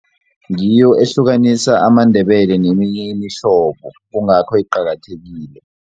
Ngiyo ehlukanisa amaNdebele neminye imihlobo kungakho iqakathekile.